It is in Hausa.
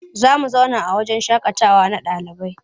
Za mu zauna wahjen shaƙatawa na ɗalibai.